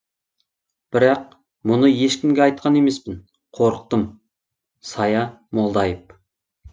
бірақ мұны ешкімге айтқан емеспін қорықтым сая молдаи ып